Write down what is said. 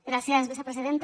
gràcies vicepresidenta